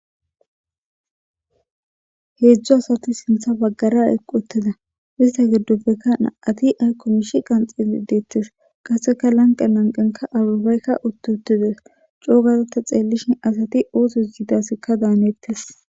Heedzdzo asati sintha baggara equ uttida ista giddoppekka na'ati ay komish qanxili deettes qaseka lanqe lanqenka arabaykka uttu uttides coogazata xeellishin asati ooses yidasekka daanettes.